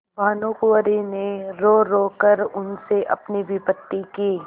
भानुकुँवरि ने रोरो कर उनसे अपनी विपत्ति की